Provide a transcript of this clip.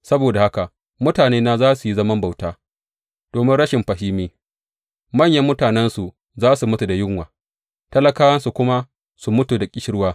Saboda haka mutanena za su yi zaman bauta domin rashin fahimi; manyan mutanensu za su mutu da yunwa talakawansu kuma su mutu da ƙishirwa.